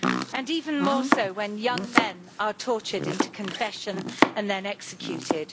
and even more so when young men are tortured into confession and then executed.